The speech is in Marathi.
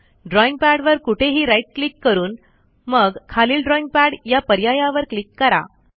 ड्रॉईंग पॅडवर कुठेही राईट क्लिक करून मग खालील ड्रॉईंग पॅड या पर्यायावर क्लिक करा